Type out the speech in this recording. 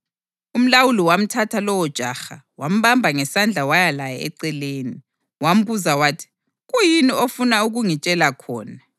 Umlawuli wamthatha lowojaha, wambamba ngesandla waya laye eceleni, wambuza wathi, “Kuyini ofuna ukungitshela khona?”